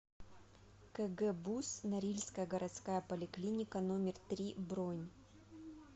кгбуз норильская городская поликлиника номер три бронь